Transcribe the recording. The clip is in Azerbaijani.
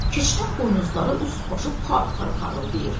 Keçinin buynuzları, üst başı par-par parıldayır.